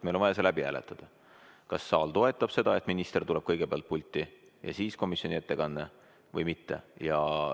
Meil on vaja läbi hääletada, kas saal toetab seda, et kõigepealt tuleb pulti minister ja alles siis tuleb komisjoni ettekandja, või mitte.